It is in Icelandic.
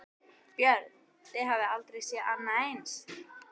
Björn: Þið hafið aldrei séð annað eins?